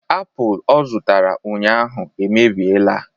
Apụl ọ zụtara ụnyaahụ emebiela